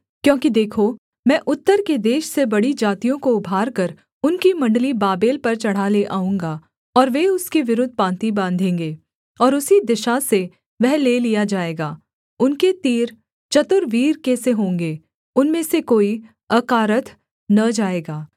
क्योंकि देखो मैं उत्तर के देश से बड़ी जातियों को उभारकर उनकी मण्डली बाबेल पर चढ़ा ले आऊँगा और वे उसके विरुद्ध पाँति बाँधेंगे और उसी दिशा से वह ले लिया जाएगा उनके तीर चतुर वीर के से होंगे उनमें से कोई अकारथ न जाएगा